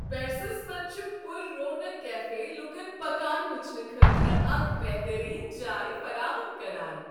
پیرسس منٛز چھ پررونق کیفے لوٗکن پکان وٕچھنہٕ خٲطرٕ اکھ بٮ۪ہترین جاۓ فراہم کران۔